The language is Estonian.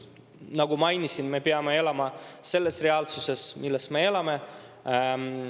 Nagu mainisin, me peame elama selles reaalsuses, milles me elame.